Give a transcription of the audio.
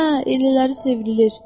Hə, elələri çevrilir.